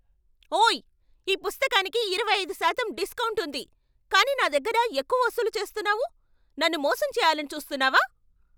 ఓయ్! ఈ పుస్తకానికి ఇరవై ఐదు శాతం డిస్కౌంట్ ఉంది కానీ నా దగ్గర ఎక్కువ వసూలు చేస్తున్నావు. నన్ను మోసం చేయాలని చూస్తున్నావా?